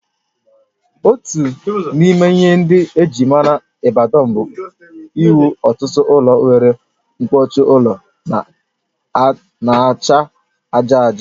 Otu n'ime ihe ndị ejịrị maara Ibadan bụ inwe ọtụtụ ụlọ nwere mkpuchi ụlọ n'acha aja aja